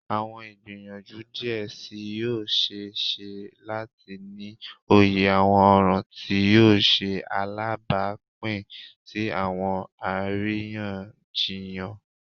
Awọn igbiyanju diẹ sii yoo ṣee ṣe lati ni oye awọn ọran ti yoo ṣe alabapin si awọn ariyanjiyan.